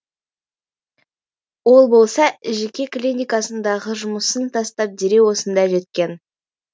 ол болса жеке клиникасындағы жұмысын тастап дереу осында жеткен